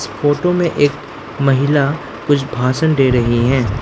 Photo में एक महिला कुछ भाषण दे रही है।